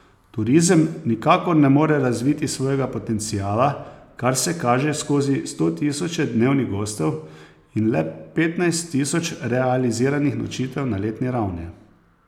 Turizem nikakor ne more razviti svojega potenciala, kar se kaže skozi stotisoče dnevnih gostov in le petnajst tisoč realiziranih nočitev na letni ravni.